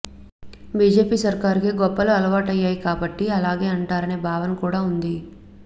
BJP సర్కారుకు గొప్పలు అలవాటయ్యాయి కాబట్టి అలాగే అంటారనే భావన కూడా ఉంది